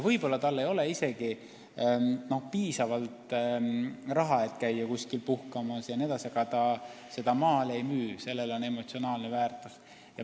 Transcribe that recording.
Võib-olla tal ei ole isegi piisavalt raha, et kuskil puhkamas käia, aga neid maale ta ei müü – neil on emotsionaalne väärtus.